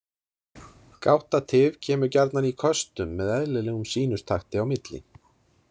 Gáttatif kemur gjarnan í köstum með eðlilegum sínustakti á milli.